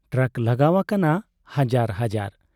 Truck ᱞᱟᱜᱟᱣ ᱟᱠᱟᱱᱟ ᱦᱟᱡᱟᱨ ᱦᱟᱡᱟᱨ ᱾